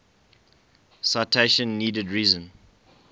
citation needed reason